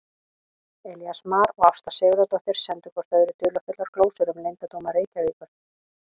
Elías Mar og Ásta Sigurðardóttir sendu hvort öðru dularfullar glósur um leyndardóma Reykjavíkur.